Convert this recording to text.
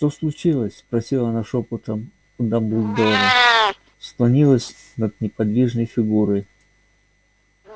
что случилось спросила она шёпотом у дамблдора склонилась над неподвижной фигурой